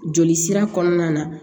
Joli sira kɔnɔna na